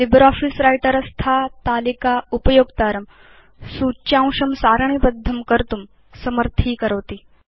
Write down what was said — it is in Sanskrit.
लिब्रियोफिस व्रिटर स्था तालिका उपयोक्तारं सूच्यांशं सारणीबद्धं कर्तुं समर्थीकरोति